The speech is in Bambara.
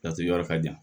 Laturu yɔrɔ ka jan